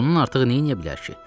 Bundan artıq nə eləyə bilər ki?